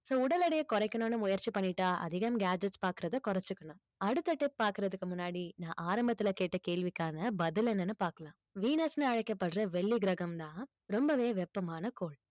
so உடல் எடையை குறைக்கணும்னு முயற்சி பண்ணிட்டா அதிகம் gadgets பாக்குறதை குறைச்சுக்கணும் அடுத்த tip பாக்குறதுக்கு முன்னாடி நான் ஆரம்பத்துல கேட்ட கேள்விக்கான பதில் என்னன்னு பார்க்கலாம் venus ன்னு அழைக்கப்படுற வெள்ளி கிரகம்தான் ரொம்பவே வெப்பமான கோள்